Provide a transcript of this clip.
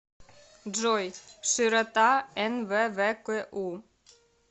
джой широта нввку